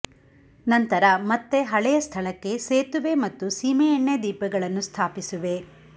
ನಂತರ ಮತ್ತೆ ಹಳೆಯ ಸ್ಥಳಕ್ಕೆ ಸೇತುವೆ ಮತ್ತು ಸೀಮೆಎಣ್ಣೆ ದೀಪಗಳನ್ನು ಸ್ಥಾಪಿಸಿವೆ